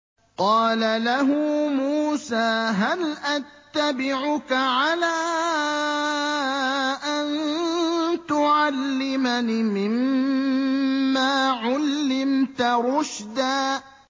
قَالَ لَهُ مُوسَىٰ هَلْ أَتَّبِعُكَ عَلَىٰ أَن تُعَلِّمَنِ مِمَّا عُلِّمْتَ رُشْدًا